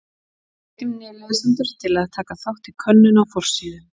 Við hvetjum lesendur til að taka þátt í könnun á forsíðu.